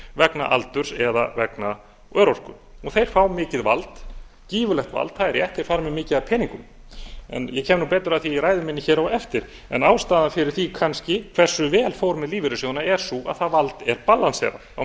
vegna aldurs eða vegna örorku og þeir fá mikið vald gífurlegt vald það er rétt þeir fara með mikið af peningum ég eru betur að því í ræðu minni hér á eftir en ástæðan fyrir því kannski hversu vel fór með lífeyrissjóðina er sú að það vald er ballanserað á